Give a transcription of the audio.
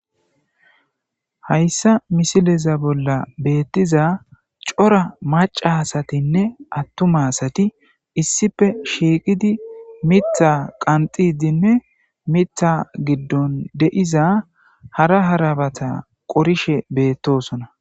hayssa misileza bolla beettiza cora maca asatinne attuma asati issife shiiqidi mitha qanxidinne mitha giddon de'iza hara harabata qorishe beettosona